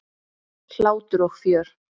Hlátur og fjör.